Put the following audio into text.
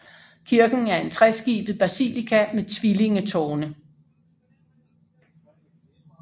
Kirken er en treskibet basilika med tvillingetårne